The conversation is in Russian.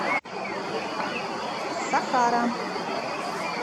сахара